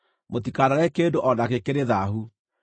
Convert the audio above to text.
Mũtikanarĩe kĩndũ o nakĩ kĩrĩ thaahu.